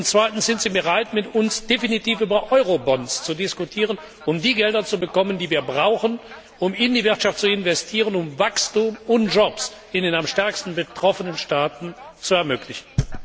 Zweitens Sind Sie bereit, mit uns definitiv über Eurobonds zu diskutieren, um die Gelder zu bekommen, die wir brauchen, um in die Wirtschaft zu investieren, um Wachstum und Jobs in den am stärksten betroffenen Staaten zu ermöglichen?